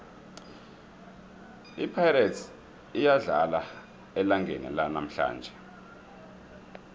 ipirates iyadlala elangeni lanamhlanje